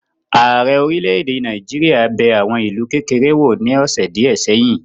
Ààrẹ orílẹ̀-èdè Nàìjíríà bẹ̀ àwọn ìlú kékeré wò ní ọ́sẹ́ díẹ̀ ṣèyìn